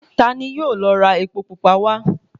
Ta ni yóò lọ ra epo pupa wá?